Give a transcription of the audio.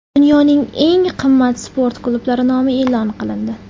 Dunyoning eng qimmat sport klublari nomi e’lon qilindi.